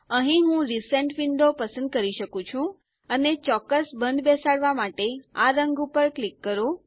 અહીં હું recent window પસંદ કરી શકું છું અને ચોક્કસ બંધબેસાડવા માટે આ રંગ પર ક્લિક કરો